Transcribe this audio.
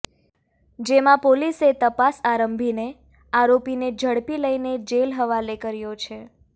જેમાં પોલીસે તપાસ આરંભીને આરોપીને ઝડપી લઈને જેલ હવાલે કર્યો છે